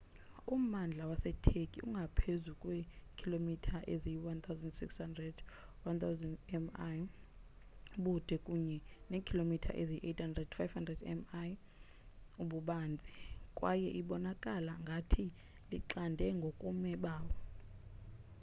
ummandla waseturkey ungaphezu kweekhilomitha eziyi-1600 1,000 mi ubude kunye neekhilomitha eziyi-800 500 mi ububanzi kwaye ibonakala ngathi lixande ngokobume bawo